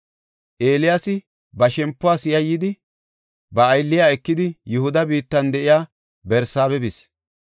Eeliyaasi ba shempuwas yayyidi, ba aylliya ekidi, Yihuda biittan de7iya Barsaabe bis.